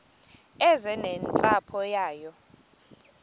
eze nentsapho yayo